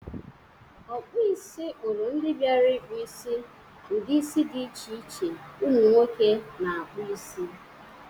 Ọkpọisi kpọrụ ndị biara ịkpụ isi ụdị isi dị iche iche umụ nwoke na-akpụ isi.